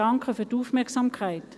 Danke für die Aufmerksamkeit.